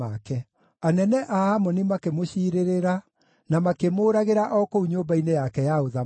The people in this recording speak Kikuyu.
Anene a Amoni makĩmũciirĩrĩra, na makĩmũũragĩra o kũu nyũmba-inĩ yake ya ũthamaki.